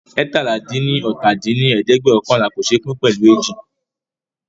eétalá-dín-ní-ọ́ta dín ní ẹ̀ẹ́dẹ́gbẹ́ọ̀kànlá kò ṣé pín pẹ̀lú ééji